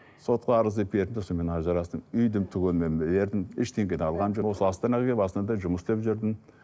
сотқа арызды бердім сонымен ажырастым үйдің түгелімен бердім ештеңе де алған жоқпын осы астанаға келіп осы астанада жұмыс істеп жүрдім